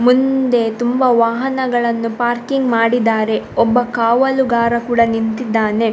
ಮುಂದೆ ತುಂಬ ವಾಹನಗಳನ್ನು ಪಾರ್ಕಿಂಗ್‌ ಮಾಡಿದ್ದಾರೆ ಒಬ್ಬ ಕಾವಲುಗಾರ ಕೂಡಾ ನಿಂತಿದ್ದಾನೆ.